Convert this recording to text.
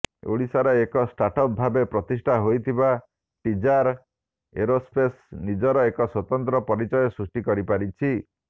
ଓଡ଼ିଶାର ଏକ ଷ୍ଟାର୍ଟଅପ୍ ଭାବେ ପ୍ରତିଷ୍ଠା ହୋଇଥିବା ଟିଜାର୍ ଏରୋସ୍ପେସ୍ ନିଜର ଏକ ସ୍ବତନ୍ତ୍ର ପରିଚୟ ସୃଷ୍ଟି କରିପାରିଛି